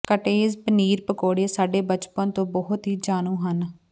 cottage paneer ਪਕੌੜੇ ਸਾਡੇ ਬਚਪਨ ਤੋਂ ਬਹੁਤ ਹੀ ਜਾਣੂ ਹਨ